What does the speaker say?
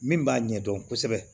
Min b'a ɲɛdɔn kosɛbɛ